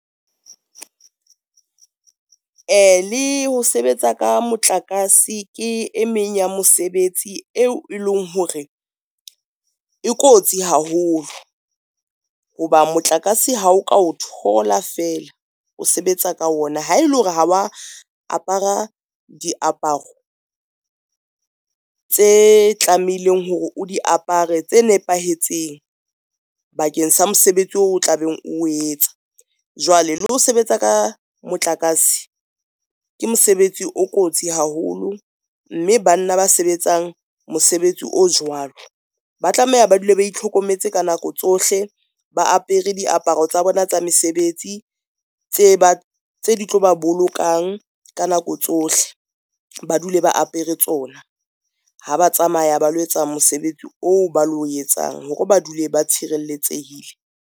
Le ho sebetsa ka motlakase, ke e meng ya mosebetsi eo e leng hore e kotsi haholo ho ba motlakase ha o ka o thola feela o sebetsa ka ona, ha ele hore ha wa apara diaparo tse tlamehileng hore o di apare tse nepahetseng bakeng sa mosebetsi o tla beng o etsa. Jwale le ho sebetsa ka motlakase ke mosebetsi o kotsi haholo, mme banna ba sebetsang mosebetsi o jwalo ba tlameha ba dule ba itlhokometse ka nako tsohle, ba apere diaparo tsa bona tsa mesebetsi tse di tlo ba bolokang ka nako tsohle, ba dule ba apere tsona. Ha ba tsamaya ba lo etsa mosebetsi oo ba lo etsang hore ba dule ba tshireletsehile.